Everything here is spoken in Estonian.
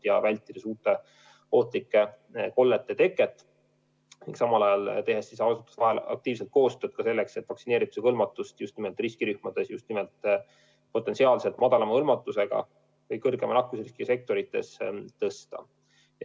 Tahame vältida uute ohtlike kollete teket, tehes samal ajal asutuste vahel aktiivset koostööd, selleks et vaktsineerimise hõlmatust just nimelt riskirühmades, just nimelt potentsiaalselt madalama hõlmatuse ja kõrgema nakkusriskiga sektorites tõsta.